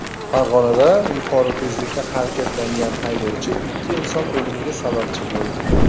Farg‘onada yuqori tezlikda harakatlangan haydovchi ikki inson o‘limiga sababchi bo‘ldi.